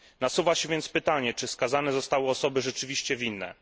Nasuwa się więc pytanie, czy skazane zostały osoby rzeczywiście winne.